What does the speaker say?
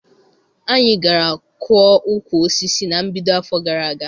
Anyị gara kụọ ukwu osisi na mbido afọ gara aga.